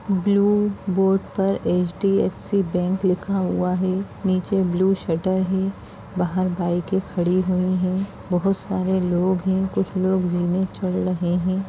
Blue board पर HDFC bank लिखा हुआ है| नीचे ब्लू शटर है बाहर बाइके खड़ी हुई है बहुत सारे लोग हैं कुछ लोग जीने चढ़ रहे हैं।